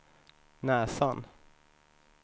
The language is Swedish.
näsan